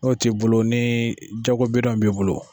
N'o ti bolo ni jago b'i bolo.